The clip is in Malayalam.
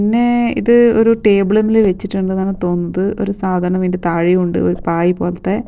പിന്നെ ഇത് ഒരു ടേബിള്മ്മിൽ വെച്ചിട്ടുണ്ട്ന്നാണ് തോന്നുന്നത് ഒരു സാധനം ഇൻ്റെ താഴെയും ഉണ്ട് ഒരു പായി പോലത്തെ.